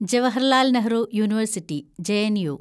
Jawaharlal Nehru university (JNU)